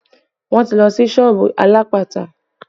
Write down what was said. Wọn ti lọ sí ìsọ̀ alápatà